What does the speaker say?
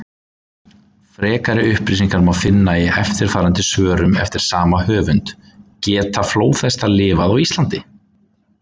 Frekari upplýsingar má finna í eftirfarandi svörum eftir sama höfund: Geta flóðhestar lifað á Íslandi?